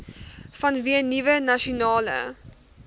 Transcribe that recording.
vanweë nuwe nasionale